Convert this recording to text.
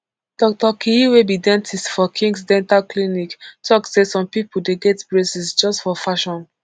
doctor keye wey be dentist for khings dental clinic tok say some pipo dey get braces just for fashion